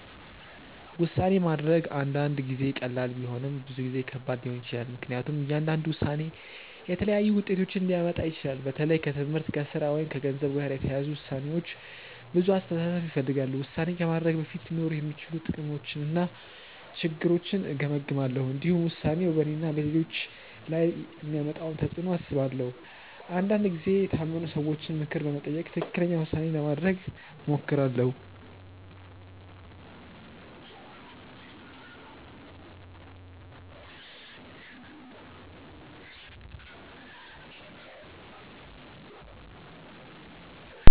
ውሳኔ ማድረግ አንዳንድ ጊዜ ቀላል ቢሆንም ብዙ ጊዜ ከባድ ሊሆን ይችላል። ምክንያቱም እያንዳንዱ ውሳኔ የተለያዩ ውጤቶችን ሊያመጣ ይችላል። በተለይ ከትምህርት፣ ከሥራ ወይም ከገንዘብ ጋር የተያያዙ ውሳኔዎች ብዙ አስተሳሰብ ይፈልጋሉ። ውሳኔ ከማድረጌ በፊት ሊኖሩ የሚችሉ ጥቅሞችንና ችግሮችን እገመግማለሁ። እንዲሁም ውሳኔው በእኔና በሌሎች ላይ የሚያመጣውን ተፅዕኖ አስባለሁ። አንዳንድ ጊዜ የታመኑ ሰዎችን ምክር በመጠየቅ ትክክለኛ ውሳኔ ለማድረግ እሞክራለሁ.